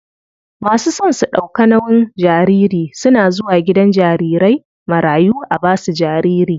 Masu son su ɗauka nauyin jariri suna zuwa gidan jarirai marayu a basu jariri.